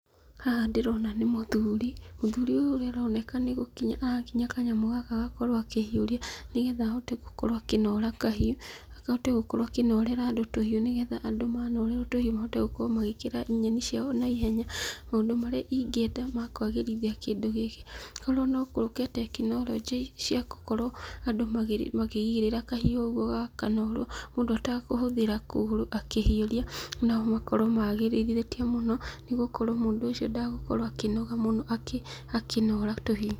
Haha ndĩrona nĩ mũthuri, mũthuri ũyũ ũrĩa aroneka nĩ gũkinya arakinya kanyamũ gaka agakorwo akĩhiũria, nĩgetha ahote gũkorwo akĩnora kahiũ, ahote gũkorwo akĩnorera andũ tũhiũ nĩgetha andũ manorerwo tũhiũ mahote gũkorwo magĩkera nyeni ciao naihenya. Maũndũ marĩa ingĩenda ma kwagĩrithia kĩndũ gĩkĩ, korwo no gũũke tekinoronjĩ cia gũkorwo andũ makĩigĩrĩra kahiũ ũguo gakanorwo mũndũ atakũhũthĩra kũgũrũ akĩhiũria, no makorwo magĩrithĩtie mũno, nĩgũkorwo mũndũ ũcio ndagũkorwo akĩnoga mũno akĩnora tũhiũ.